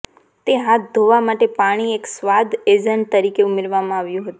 તે હાથ ધોવા માટે પાણી એક સ્વાદ એજન્ટ તરીકે ઉમેરવામાં આવ્યું હતું